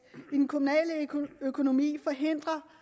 i den kommunale økonomi forhindre